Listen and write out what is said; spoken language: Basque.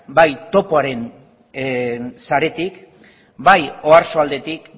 bai topoaren saretik bai oarsoaldetik